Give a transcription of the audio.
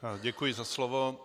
Děkuji za slovo.